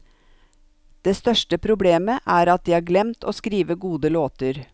Det største problemet er at de har glemt å skrive gode låter.